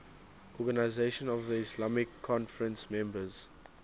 organisation of the islamic conference members